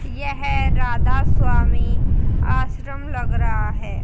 यह राधा स्वामी आश्रम लग रहा है।